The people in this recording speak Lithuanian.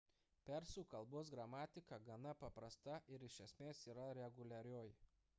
persų kalbos gramatika gana paprasta ir iš esmės yra reguliarioji